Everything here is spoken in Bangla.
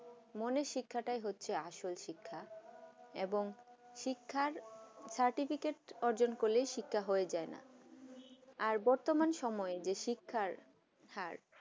মনে শিক্ষাতা হচ্ছে আসল শিক্ষা এবং শিক্ষা certificate অর্জন করলে শিক্ষা হয়ে যায় না আর বতর্মান সময় যে শিক্ষার হার